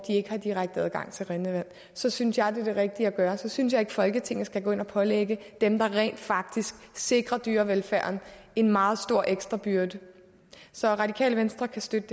ikke har direkte adgang til rindende vand så synes jeg det er det rigtige at gøre så synes jeg ikke at folketinget skal gå ind og pålægge dem der rent faktisk sikrer dyrevelfærden en meget stor ekstra byrde så radikale venstre kan støtte